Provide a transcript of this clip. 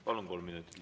Palun, kolm minutit.